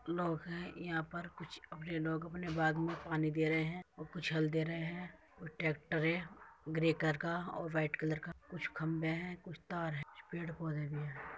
लोग हैं यहाँ पर कुछ अपने लोग अपने बाग में पानी दे रहे हैं | कुछ हल दे रहे हैं वो ट्रैक्टर है ग्रे कलर का और वाइट कलर का कुछ खम्भे हैं कुछ तार हैं पेड़ -पौधे भी हैं।